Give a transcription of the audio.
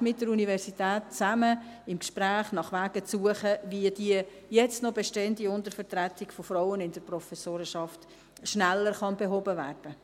mit der Universität im Gespräch nach Wegen zu suchen, wie die jetzt noch bestehende Untervertretung der Frauen in der Professorenschaft schneller behoben werden kann.